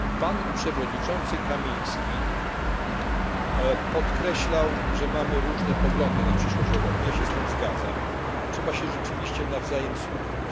Pan przewodniczący Kamiński podkreślał, że mamy różne poglądy na przyszłość Europy, ja się z tym zgadzam, trzeba się rzeczywiście nawzajem słuchać.